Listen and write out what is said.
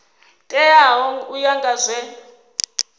teaho u ya nga zwe